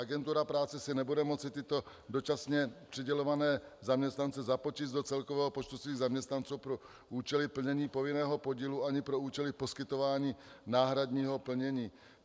Agentura práce si nebude moci tyto dočasně přidělované zaměstnance započíst do celkového počtu svých zaměstnanců pro účely plnění povinného podílu ani pro účely poskytování náhradního plnění.